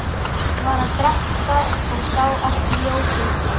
Var að drekka og sá ekki ljósið.